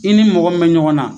I ni mɔgɔ min me ɲɔgɔn na